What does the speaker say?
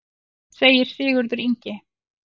Segir Sigurður Ingi.